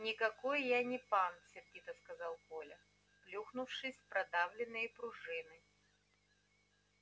никакой я не пан сердито сказал коля плюхнувшись в продавленные пружины